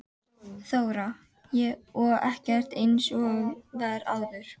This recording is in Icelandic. Þóra: Og ekkert eins og var áður?